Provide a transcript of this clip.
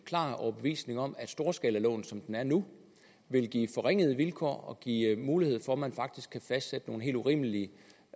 klar overbevisning om at storskalaloven som den er nu vil give forringede vilkår og give mulighed for at man faktisk kan fastsætte nogle helt urimelige